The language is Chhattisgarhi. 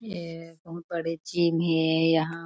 ए बहुत बड़े जीम हे यहाँ --